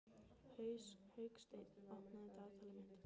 Hauksteinn, opnaðu dagatalið mitt.